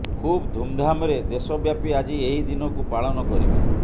ଖୁବ୍ ଧୁମଧାମରେ ଦେଶବ୍ୟାପୀ ଆଜି ଏହି ଦିନକୁ ପାଳନ କରିବେ